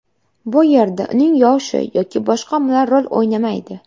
Bu yerda uning yoshi yoki boshqa omillar rol o‘ynamaydi.